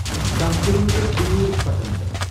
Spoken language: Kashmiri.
یہِ چھ داہ کِلومیٖٹَر دور پٹنٕ پؠٹھ.